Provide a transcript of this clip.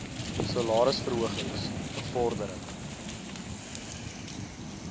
salaris verhogings bevordering